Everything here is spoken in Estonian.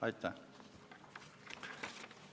Aitäh!